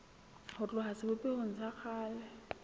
ho tloha sebopehong sa kgale